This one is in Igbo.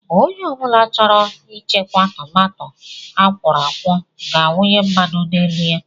Ònye chọrọ ichekwa tomato akworokwo ga awunye mmanụ n'elu ya.